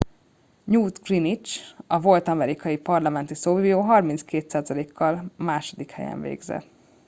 newt gingrich a volt amerikai parlamenti szóvivő 32%-kal a második helyen végzett